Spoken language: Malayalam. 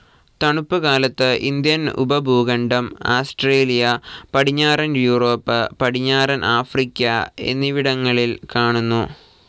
തണുപ്പു കാലത്ത് ഇന്ത്യൻ ഉപഭൂഖണ്ഡം, ആസ്ട്രേലിയ, പടിഞ്ഞാറൻ യൂറോപ്പ്, പടിഞ്ഞാറൻ ആഫ്രിക്ക എന്നിവിടങ്ങ്ലിൽ കാണുന്നു.